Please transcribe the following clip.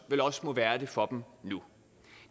vel også må være det for dem nu